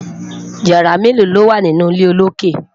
yàrá melo lowa nínú ilé olokè?